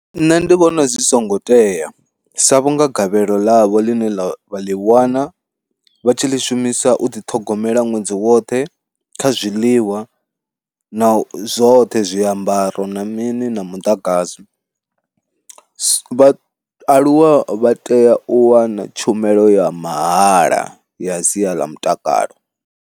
Nṋe ndi vhona zwi songo tea sa vhunga gavhelo ḽavho ḽine ḽa vha ḽi wana vha tshi ḽi shumisa u ḓiṱhogomela ṅwedzi woṱhe kha zwiḽiwa na u zwoṱhe zwiambaro na mini na muḓagasi, vhaaluwa vha tea u wana tshumelo ya mahala ya sia ḽa mutakalo.